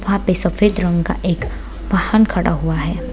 वहाँ पे सफ़ेद रंग का एक वाहन खड़ा हुआ है |